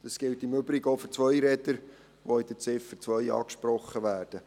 Das gilt im Übrigen auch für Zweiräder, welche unter der Ziffer 2 angesprochen werden.